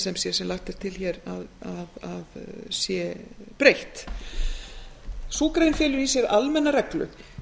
sem sé sem lagt er til að sé breytt felur í sér almenna reglu